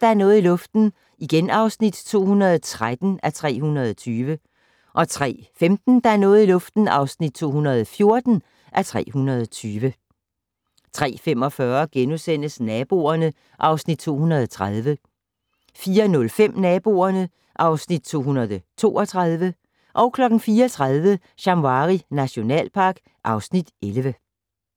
Der er noget i luften (213:320) 03:15: Der er noget i luften (214:320) 03:45: Naboerne (Afs. 230)* 04:05: Naboerne (Afs. 232) 04:30: Shamwari nationalpark (Afs. 11)